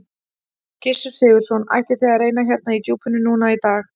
Gissur Sigurðsson: Ætlið þið að reyna hérna í djúpinu núna í dag?